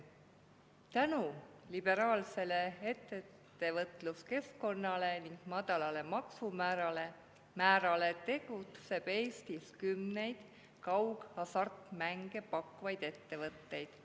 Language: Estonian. Tänu liberaalsele ettevõtluskeskkonnale ning madalale maksumäärale tegutseb Eestis kümneid kaughasartmänge pakkuvaid ettevõtteid.